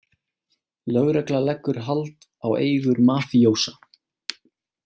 Lögregla leggur hald á eigur mafíósa